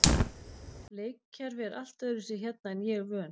Leikkerfi er allt öðruvísi hérna en ég er vön.